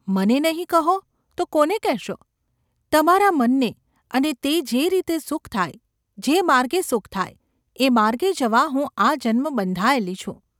‘મને નહિ કહો તો કોને કહેશો ? તમારા મનને અને તે જે રીતે સુખ થાય, જે માર્ગે સુખ થાય, એ માર્ગે જવા હું આજન્મ બંધાયેલી છું.